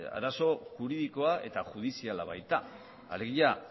arazo juridikoa eta judiziala baita alegia